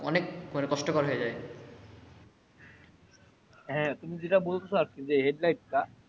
অনেক কষ্ট কর হয়ে যাই হ্যা তুমি যেটা বলছো যে headlight টা।